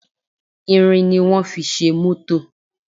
Irin ni wón fi ṣe mótò